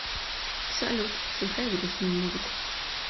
салют сыграй грустную музыку